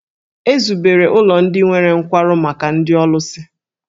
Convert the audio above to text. E zubere ụlọ ndị nwere nkwarụ maka ndị ọlụsị.